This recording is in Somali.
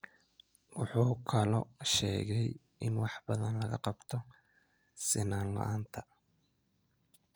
Wuxuu kaloo sheegay in wax badan laga qabto sinnaan la’aanta.